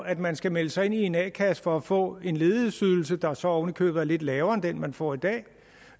at man skal melde sig ind i en a kasse for at få en ledighedsydelse der så oven i købet er lidt lavere end den man får i dag det